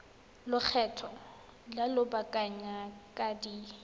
lekgetho la lobakanyana di ka